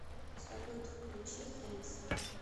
салют включи хэндс